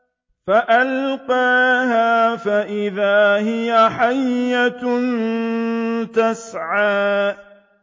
فَأَلْقَاهَا فَإِذَا هِيَ حَيَّةٌ تَسْعَىٰ